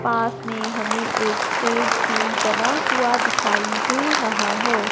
पास में हमें एक स्टेज भी बना हुआ दिखाई दे रहा है।